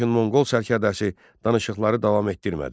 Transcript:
Lakin Monqol sərkərdəsi danışıqları davam etdirmədi.